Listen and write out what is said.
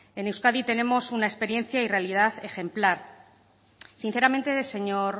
en euskadi tenemos una experiencia y realidad ejemplar sinceramente señor